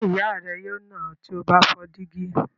Ṣé ìyá rẹ yóò nà ọ́ tí o bá fọ́ dígí?